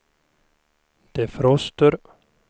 defroster